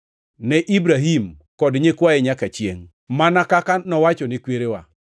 ne Ibrahim kod nyikwaye nyaka chiengʼ, mana kaka nowachone kwerewa.”